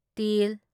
ꯇ